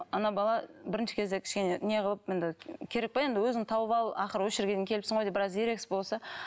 ана бала бірінші кезде кішкене не қылып енді керек пе енді өзің тауып ал ақыры осы жерге дейін келіпсің ғой деп біраз ерегес болса